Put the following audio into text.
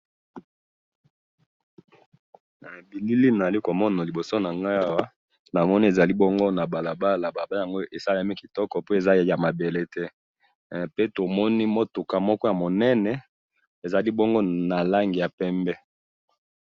Na bilili oyo nazali komona liboso nangayi awa, nazomona ezali bongo nabalabala, balabala yango esalemi kitoko po eza yamabele te, eh! Pe tomoni mutuka moko yamunene, ezali bongo nalangi ya pembe.